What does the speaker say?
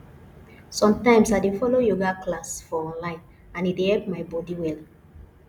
sometimes i dey follow yoga class for online and e dey help my body well